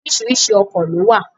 Oríṣiríṣi ọkọ̀ ló wà.